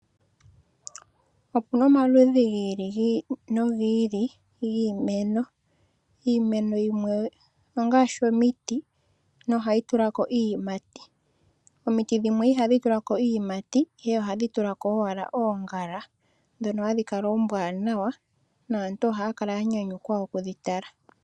Opu na omaludhi gi ili no gi ili giimeno. Iimeno yimwe ongaashi omiti ndhono hadhi tulako iiyimati. Omiti dhimwe ihadhi tulako iiyimati ihe ohadhi tulako owala oongala ndhono aantu haa kala ya panda okutala.